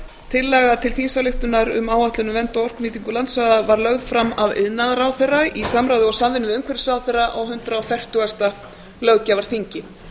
tillaga til þingsályktunar um áætlun um vernd og orkunýtingu landsvæða var lögð fram af iðnaðarráðherra í samráði og samvinnu við umhverfisráðherra á hundrað fertugasta löggjafarþingi